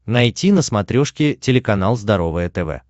найти на смотрешке телеканал здоровое тв